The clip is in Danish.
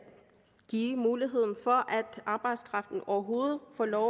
give muligheden for at arbejdskraften overhovedet får lov